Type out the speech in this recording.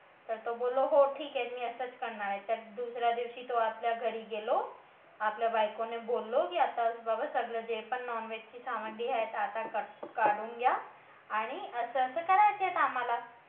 तर तो बोललो की हो ठीक आहे मी असंच करणार आहे तर दुसऱ्या दिवशी तो आपल्या घरी गेलो आपल्या बायकोने बोललो की आता की बाबा सगळं जे पण non veg ची सामग्री आहे ते आता काढून घ्या आणि असं करायचं आहे आम्हाला